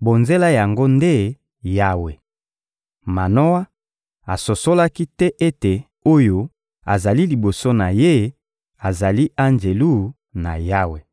bonzela yango nde Yawe. Manoa asosolaki te ete oyo azali liboso na ye azali Anjelu na Yawe.